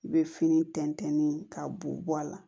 I bɛ fini tɛntɛn ni ka bo bɔ a la